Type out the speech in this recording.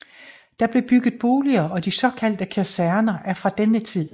Der blev bygget boliger og de såkaldte kaserner er fra denne tid